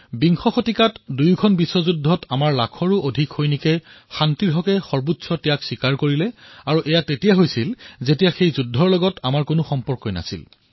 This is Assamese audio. বিংশ শতাব্দীত দুখনকৈ বিশ্বযুদ্ধত আমাৰ এক লাখতকৈও অধিক সৈন্যই শান্তিৰ প্ৰতি সৰ্বোচ্চ বলিদান দিছিল আৰু তেতিয়া যেতিয়া আমাৰ যুদ্ধৰ সৈতে একো সম্পৰ্কই নাছিল